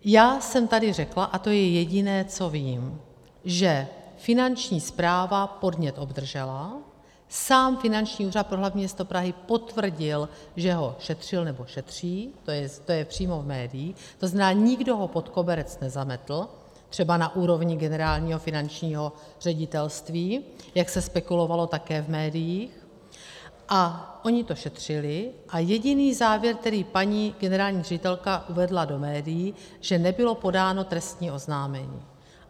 Já jsem tady řekla, a to je jediné, co vím, že Finanční správa podnět obdržela, sám Finanční úřad pro hlavní město Prahy potvrdil, že ho šetřil, nebo šetří, to je přímo z médií, to znamená, nikdo ho pod koberec nezametl, třeba na úrovni Generálního finančního ředitelství, jak se spekulovalo také v médiích, a oni to šetřili a jediný závěr, který paní generální ředitelka uvedla do médií, že nebylo podáno trestní oznámení.